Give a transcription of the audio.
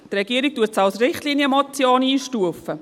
Die Regierung stuft sie als Richtlinienmotion ein.